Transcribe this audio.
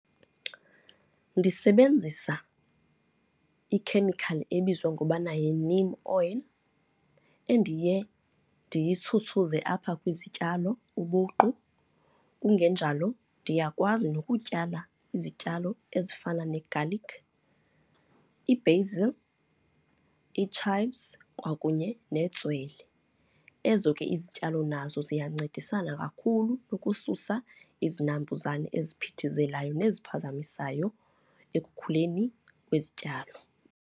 Ndisebenzisa ikhemikhali ebizwa ngokubana yi-neem oil, endiye ndiyitshutshuze apha kwizityalo ubuqu. Kungenjalo ndiyakwazi nokutyala izityalo ezifana ne-garlic, i-basil, ii-chives kwakunye netswele. Ezo ke izityalo nazo ziyancedisana kakhulu ukususa izinambuzane eziphithizelayo neziphazamisayo ekukhuleni kwezityalo.